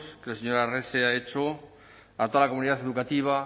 que el señor arrese ha hecho a toda la comunidad educativa